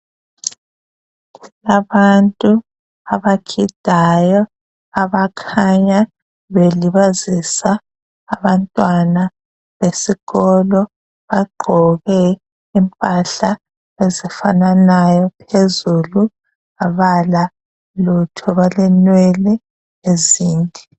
Abantu abagidayo abakhanya belibazisa abantwana besikolo bagqoke impahla ezifananayo phezulu abalalutho balenwele ezinde